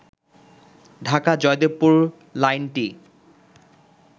ঢাকা-জয়দেবপুর লাইনটি